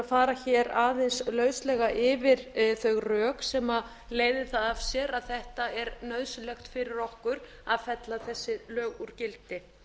fara aðeins lauslega yfir þau rök sem leiðir það af sér að þetta er nauðsynlegt fyrir okkur að fella þessi lög úr gildi